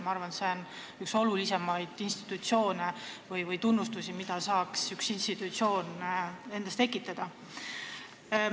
Ma arvan, et see on üks kõige olulisemaid tunnustusi, mille üks institutsioon saab ära teenida.